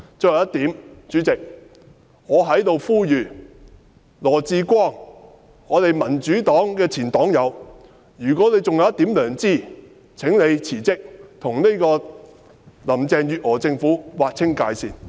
最後一點，代理主席，我在這裏呼籲羅致光——民主黨的前黨友，如果他還有一點良知，請他辭職，跟林鄭月娥政府劃清界線。